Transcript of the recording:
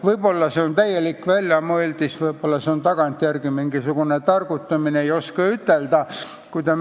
Võib-olla on see täielik väljamõeldis, võib-olla on see tagantjärele targutamine, ei oska ütelda.